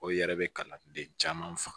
O yɛrɛ be kana den caman faga